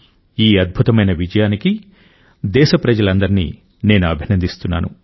ఈ అద్భుతమైన విజయానికి దేశప్రజలందరినీ నేను అభినందిస్తున్నాను